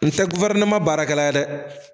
N tɛ baarakɛla ye dɛ.